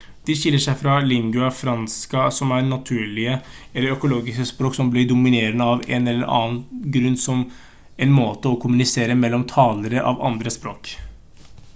de skiller seg fra lingua franca som er naturlige eller økologiske språk som blir dominerende av én eller annen grunn som en måte å kommunisere mellom talere av andre språk